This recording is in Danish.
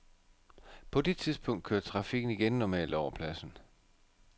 På det tidspunkt kørte trafikken igen normalt over pladsen.